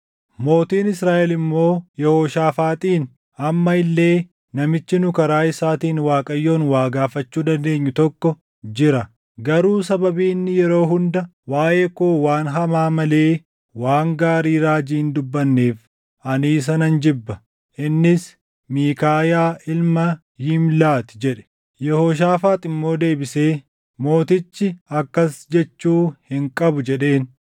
Mootiin Israaʼel immoo Yehooshaafaaxiin, “Amma illee namichi nu karaa isaatiin Waaqayyoon waa gaafachuu dandeenyu tokko jira; garuu sababii inni yeroo hunda waaʼee koo waan hamaa malee waan gaarii raajii hin dubbanneef ani isa nan jibba. Innis Miikaayaa ilma Yimlaa ti” jedhe. Yehooshaafaax immoo deebisee, “Mootichi akkas jechuu hin qabu” jedheen.